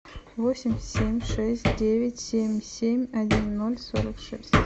восемь семь шесть девять семь семь один ноль сорок шесть